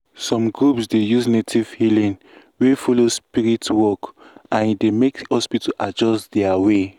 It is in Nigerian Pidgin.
some groups dey use native healing wey follow spirit work and e dey make hospital adjust their way.